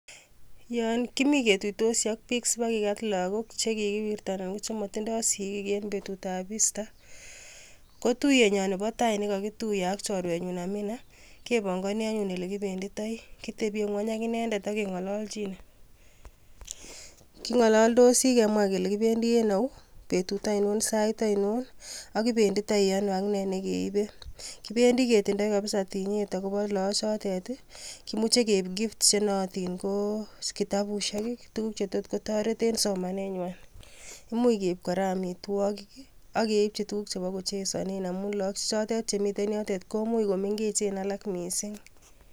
Yon kimi ketuitosi ak bik sibakigat logbook chekikiwirta anan kochemotindo sigiik en betutab Easter .Kotuyenyon nebo tai nekokituyee ak choruenyun Amina, kepongoni anyun olekibenditoi. Kitebie ngwony ak inendet ak kengololchinee .Kingololdosi kemwa kele kibendi en au, betut ainon, Sait anon ak kibenditoi anoo, ak nee nekeibe. Kibendi kitindo kabsa tinyet. akobi logokchotet. Kimuche keib gifts chenootin ko kitabusiek, tuguuj chetot kotoret en somanenywan. Imuch keib kora amitwogiik am keibchi tuguk chebo kochesonen amun logok che chotet chemiten yotet komuch komengechen alaak missing